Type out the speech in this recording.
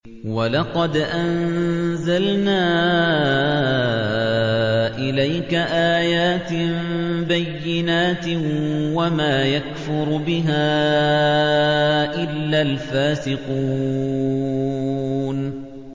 وَلَقَدْ أَنزَلْنَا إِلَيْكَ آيَاتٍ بَيِّنَاتٍ ۖ وَمَا يَكْفُرُ بِهَا إِلَّا الْفَاسِقُونَ